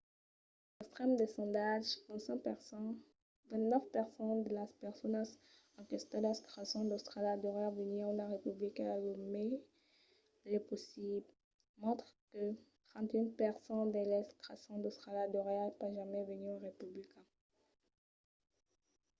als extrèms del sondatge 29 per cent de las personas enquestadas creson qu’austràlia deuriá venir una republica lo mai lèu possible mentre que 31 per cent d’eles creson qu’austràlia deuriá pas jamai venir una republica